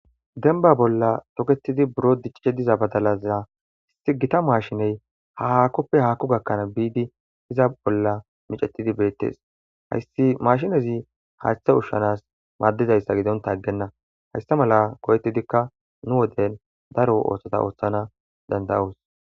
Denba bolla toketidi buro diccichediza badalaza hisi gita maashiney ha hakkoppe haakku gakkanaa biidi iza bolla micetidi beettes hayssi mashinezi haaththa ushshanas maaddizayssa gidonta aggenna hayssa mala ko'ettidikka nu woden daro ooththota ooththana dandayaus.